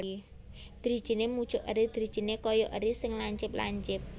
Drijiné mucuk eri drijiné kaya eri sing lancip lancip